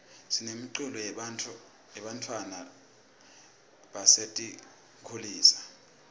sinemiculo yebantfwana basetinkulisa